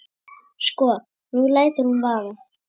Sko. nú lætur hún vaða.